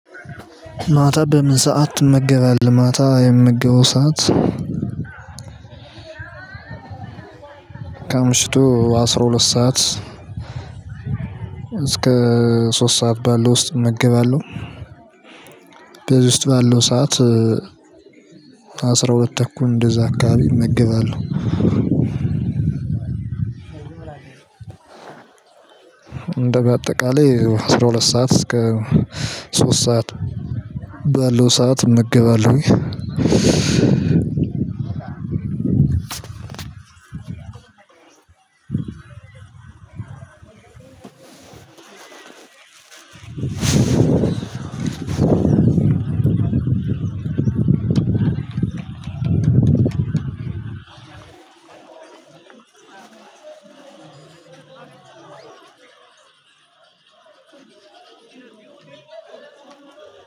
ማታ በምን ሰዓት ትመገባለህ? ማታ የምመገበው ሰዓት ከምሽቱ አስራ ሁለት ሰዓት እስከ ሶስት ሰዓት ባለው ውስጥ እመገባለሁ። በዚህ ውስጥ ባለው ሰዓት አስራ ሁለት ተኩል እንደዛ አካባቢ እመገባለሁ። እንደ በአጠቃላይ አስራ ሁለት ሰዓት እስከ ሶስት ሰዓት ባለው ሰዓት እመገባለሁ። አዎ አሜን።